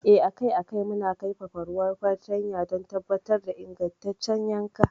Eh, akai a kai muna kaifafa ruwan fartanya don tabbatar da ingantaccen yankan.